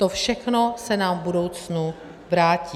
To všechno se nám v budoucnu vrátí.